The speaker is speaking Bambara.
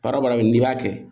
Baara baara min n'i y'a kɛ